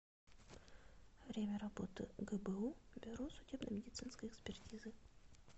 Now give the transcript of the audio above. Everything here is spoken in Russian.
время работы гбу бюро судебно медицинской экспертизы